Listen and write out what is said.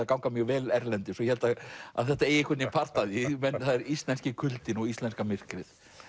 að ganga mjög vel erlendis og ég held að þetta eigi part af því það er íslenski kuldinn og íslenska myrkrið